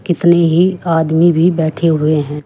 कितने ही आदमी भी बैठे हुए हैं।